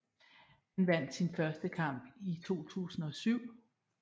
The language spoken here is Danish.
Han vandt sin første kamp i 2007